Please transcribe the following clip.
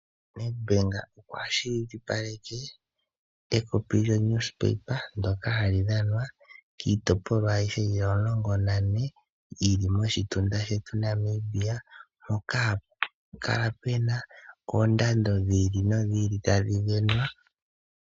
NedBank okwa kwashilipaleke ekopi lyoNewspaper ndoka hali dhanwa kiitopolwa ayihe yili omulongo nane yili moshitunda shetu Namibia mpoka hapu kala puna oondando dhi ili nodhi ili tadhi sindanwa.